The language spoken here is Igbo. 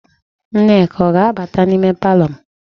Nneka ọ ga-abata n'ime palọ m?